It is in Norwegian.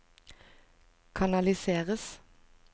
kanaliseres